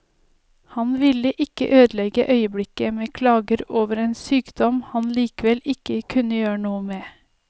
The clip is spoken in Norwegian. Han ville ikke ødelegge øyeblikket med klager over en sykdom han likevel ikke kunne gjøre noe med.